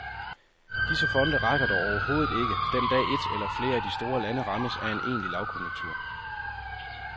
Disse fonde rækker dog overhovedet ikke, den dag et eller flere af de store lande rammes af en egentlig lavkonjunktur.